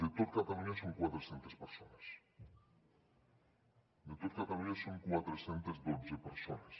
de tot catalunya són quatre centes persones de tot catalunya són quatre cents i dotze persones